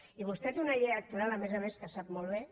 i vostè té una llei electoral a més a més que ho sap molt bé